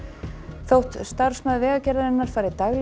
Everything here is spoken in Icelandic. þótt starfsmaður Vegagerðarinnar fari daglega